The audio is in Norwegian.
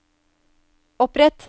opprett